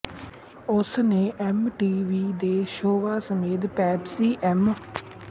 ਉਸਨੇ MTV ਦੇ shows ਸਮੇਤ ਪੇਪਸੀ ਐਮ